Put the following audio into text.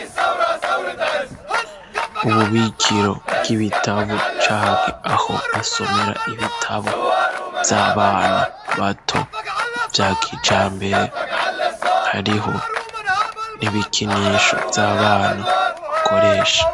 Ububikiro bw'ibitabu canke aho basomera ibitabo vy'abana bato vyakijambere hariho n'ibikinisho vy'abana bakoresha.